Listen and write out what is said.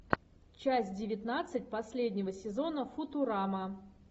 часть девятнадцать последнего сезона футурама